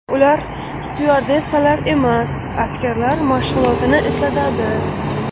Ular styuardessalar emas, askarlar mashg‘ulotini eslatadi.